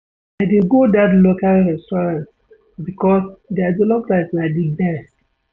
I dey go dat local restaurant because their jollof rice na di best.